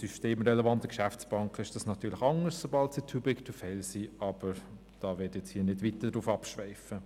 Bei systemrelevanten Geschäftsbanken ist dies natürlich anders, sobald sie «too big to fail» sind, aber darauf möchte ich jetzt nicht weiter eingehen.